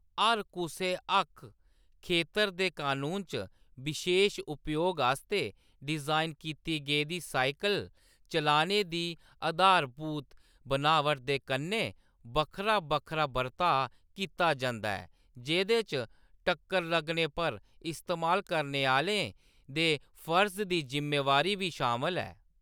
हर कुसै हक्क खेतर दे कनून च बशेश उपयोग आस्तै डिजाइन कीती गेदी साइकल चलाने दी आधारभूत बनावट दे कन्नै बक्खरा-बक्खरा बर्ताऽ कीता जंदा ऐ, जेह्‌‌‌दे च टक्कर लगने पर इस्तेमाल करने आह्‌लें दे फर्ज दी जिम्मेबारी बी शामल ऐ।